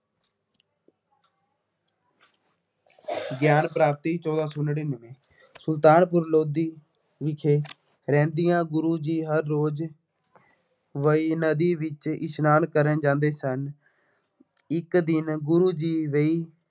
ਗਿਆਨ ਪ੍ਰਾਪਤੀ, ਚੋਦਾਂ ਸੌ ਨੜਿੱਨਵੇਂ ਸੁਲਤਾਨਪੁਰ ਲੋਧੀ ਵਿਖੇ ਰਹਿੰਦਿਆਂ ਗੁਰੂ ਜੀ ਹਰ ਰੋਜ਼ ਵੇਈਂ ਨਦੀ ਵਿੱਚ ਇਸ਼ਨਾਨ ਕਰਨ ਜਾਂਦੇ ਸਨ। ਇੱਕ ਦਿਨ ਗੁਰੂ ਜੀ ਵੇਈਂ